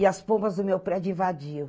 E as pombas do meu prédio invadiam.